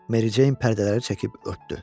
Mericeyn pərdələri çəkib örtdü.